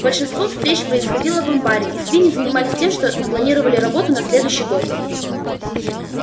большинство встреч происходило в амбаре и свиньи занимались тем что планировали работу на следующий год